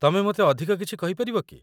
ତମେ ମୋତେ ଅଧିକ କିଛି କହିପାରିବ କି?